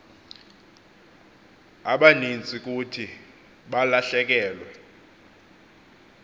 abaninzi kuthi balahlekelwe